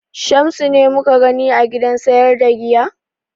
Shamsu ne mu ka gani a gidan sayar da giya?